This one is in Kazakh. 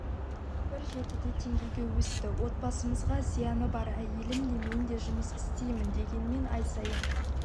бір жетіде теңгеге өсті отбасымызға зияны бар әйелім де мен де жұмыс істеймін дегенмен ай сайын